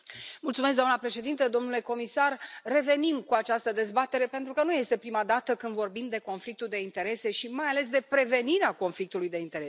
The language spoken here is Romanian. Doamnă președintă, domnule comisar, revenim cu această dezbatere, pentru că nu este prima dată când vorbim de conflictul de interese și, mai ales, de prevenirea conflictului de interese.